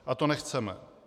A to nechceme.